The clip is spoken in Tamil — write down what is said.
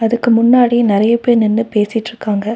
இதுக்கு முன்னாடி நெறைய பேர் நின்னு பேசிட்ருக்காங்க.